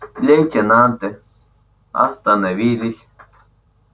лейтенанты остановились